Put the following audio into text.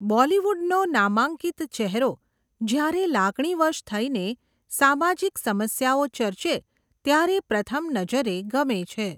બૉલીવુડનો નામાંકિત ચેહેરો જ્યારે લાગણીવશ થઇને, સામાજીક સમસ્યાઓ ચર્ચે ત્યારે પ્રથમ નજરે ગમે છે.